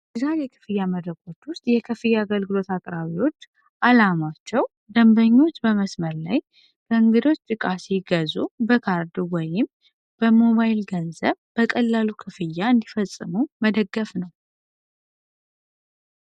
የክፍያ መረጃዎች ውስጥ የከፍያ አገልግሎት አቅራቢዎች ዓላማቸው ደንበኞች በመስመር ላይ በእንግዶ ሲገዙ በካርድ ወይም በሞባይል ገንዘብ በቀላሉ ክፍያ እንዲፈጸሙ መደገፍ ነው።